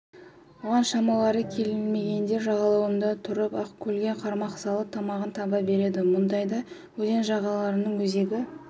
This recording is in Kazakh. оған шамалары келмегендер жағалауда тұрып-ақ көлге қармақ салып тамағын таба береді мұндайда өзен жағалағанның өзегі